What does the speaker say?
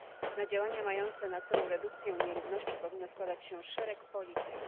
Na działania mające na celu redukcję nierówności powinien składać się szereg polityk.